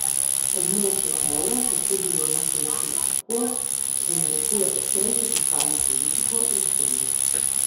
Območje evra se je s to dilemo soočilo tako, da narekuje ostrejšo fiskalno politiko, je spomnil.